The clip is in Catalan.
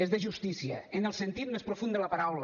és de justícia en el sentit més profund de la paraula